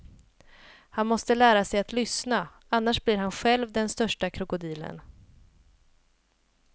Han måste lära sig lyssna, annars blir han själv den största krokodilen.